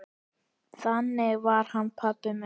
Þannig var hann pabbi minn.